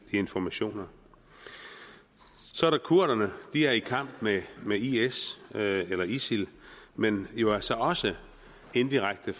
informationer så er der kurderne de er i kamp med med is eller isil men er jo altså også indirekte i